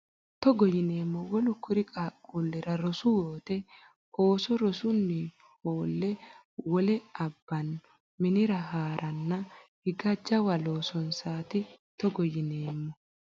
Togo yineemmo Wolu kuri qaaqquullira rosu wote ooso rosunni hoolle wole abbanno minira ha ranna higa jawa loosonsaati Togo yineemmo.